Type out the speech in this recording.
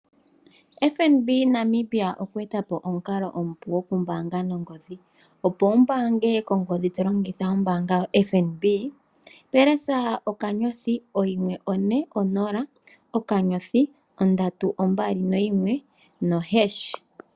FNB Namibia okwe eta po omukalo omupu gokumbaanga nongodhi , opo wumbange nongodi to longitha ombaanga yaFNB thinda onomola *140*321#.